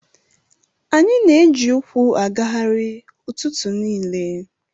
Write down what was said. Anyị na-eji ụkwụ agagharị ụtụtụ niile.